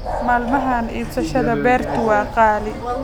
Maalmahan iibsashada beertu waa qaali